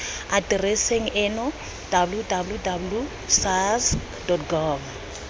atereseng eno www sars gov